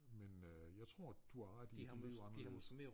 Men øh jeg tror du har ret i at de øh